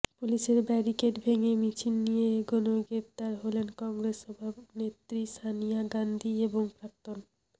পুলিশের ব্যারিকেড ভেঙে মিছিল নিয়ে এগনোয় গ্রেফতার হলেন কংগ্রেস সভানেত্রী সনিয়া গাঁধী এবং প্রাক্তন